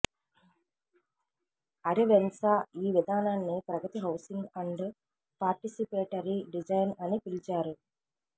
అరెవెన్సా ఈ విధానాన్ని Pragati housing and participatory design అని పిలిచారు